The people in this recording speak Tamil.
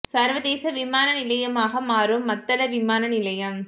சர்வதேச விமான நிலையமாக மாறும் மத்தள விமான நிலையம்